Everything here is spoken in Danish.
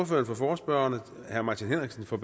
for forespørgerne herre martin henriksen for